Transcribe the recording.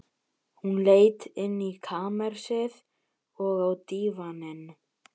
Hún leit inn í kamersið, og á dívaninn.